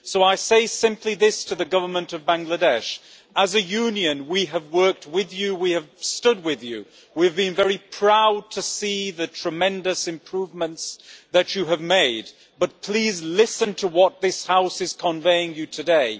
So I say simply this to the Government of Bangladesh as a Union we have worked with you, we have stood with you, we have been very proud to see the tremendous improvements that you have made, but please, listen to what this House is conveying to you today.